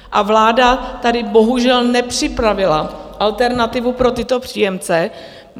A vláda tady bohužel nepřipravila alternativu pro tyto příjemce.